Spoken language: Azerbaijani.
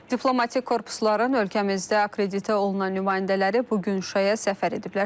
Diplomatik korpusların ölkəmizdə akreditə olunan nümayəndələri bu gün Şuşaya səfər ediblər.